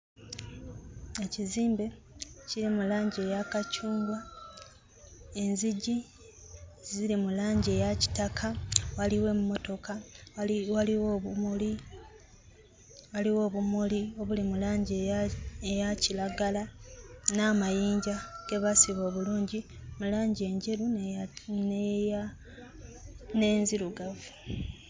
Ekizimbe kiri mu langi eya kacungwa, enzigi ziri mu langi eya kitaka, waliwo emmotoka, waliwo obumuli, waliwo obumuli obuli mu langi eya eya kiragala n'amayinja ge baasiba obulungi mu langi enjeru n'eya n'eya n'enzirugavu.